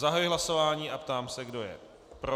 Zahajuji hlasování a ptám se, kdo je pro.